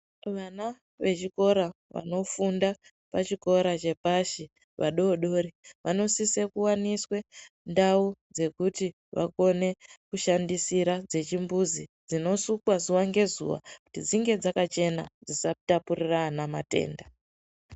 Vana vechikora vanofunda pachikora chepashi vadodori vanosise kuvaniswe ndau dzekuti vakone kushandisira dzechimbuzi, dzinosukwa zuva ngezuva kuti dzinge dzkachena dzisakone kutapurira ana matenda.